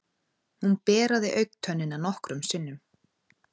Hún beraði augntönnina nokkrum sinnum.